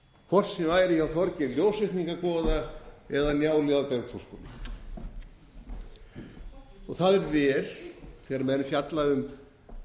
hvort sem væri hjá þorgeiri ljósvetningagoða eða njáli á bergþórshvoli það er vel þegar menn fjalla um